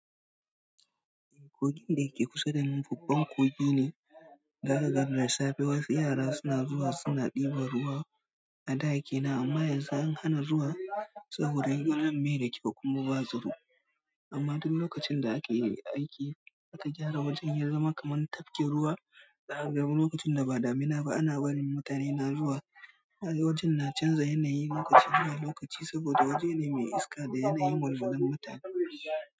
Kogin da yake kusa da ni babban kogi ne. Za zakaga da safe wasu yara suna zuwa suna ɗiba ruwa a da kenan amma yanzu an hana zuwa saboda gurin bai da kyau kuma ba tsaro. Amma duk lokacin da ake aiki, aka gyara wajen ya zama kamar tafkin ruwa. Za kaga lokacin da ba damina ba ana barin mutane na zuwa. Wajen na canza yanayi lokaci zuwa lokaci saboda waje ne mai iska da yanayin walwalan mutane.